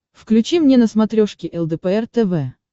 включи мне на смотрешке лдпр тв